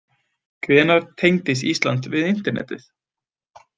Hvenær tengdist Ísland við internetið?